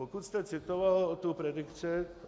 Pokud jste citoval tu predikci.